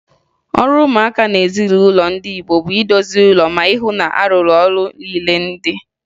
Ọrụ ụmụaka n'ezinụlọ ndị Igbo bụ idozi ụlọ ma hụ na a rụrụ ọrụ niile dị